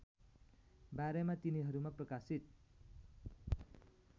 बारेमा तिनीहरूमा प्रकाशित